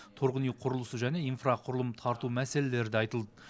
тұрғын үй құрылысы және инфрақұрылым тарту мәселелері айтылды